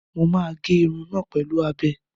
Mo máa gé irun náà pẹ̀lú abẹ.